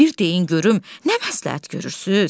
Bir deyin görüm nə məsləhət görürsüz?